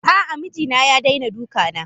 A'a mijina ya daina dukana.